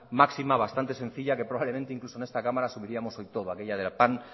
máxima bastante sencilla que probablemente incluso en esta cámara asumiríamos del todo aquella de pan